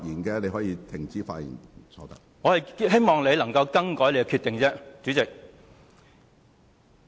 主席，我只是希望你能夠更改你的決定。